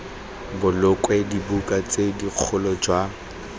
bolokwe dibuka tse dikgolo jalo